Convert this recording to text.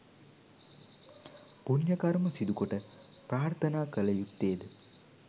පුණ්‍ය කර්ම සිදුකොට ප්‍රාර්ථනා කළ යුත්තේද